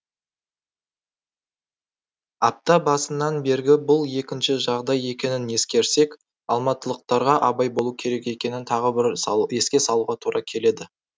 апта басынан бергі бұл екінші жағдай екенін ескерсек алматылықтарға абай болу керек екенін тағы бір еске салуға тура келеді